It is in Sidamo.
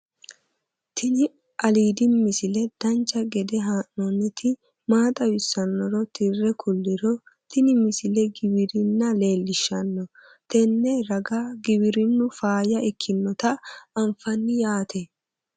tini aliidi misile dancha gede haa'nooniti maa xawissannoro tire kulliro tini misilegiwirinna leelishshanno tenne ra giwinnu faaya ikkinota anfanni yaate